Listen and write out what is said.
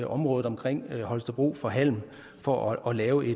området omkring holstebro for halm for at lave